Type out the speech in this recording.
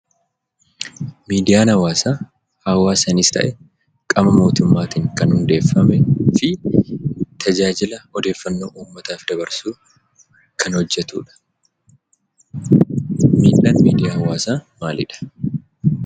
Miidiyaan hawaasaa hawaasaanis ta'e qaama mootummaatiin kan hundeeffamee fi tajaajila odeeffannoo uummataaf dabarsuu kan hojjdtudha. Miidhaan miidiyaa hawaasaa maalidha?